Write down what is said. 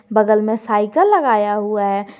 बगल में साइकल लगाया हुआ है।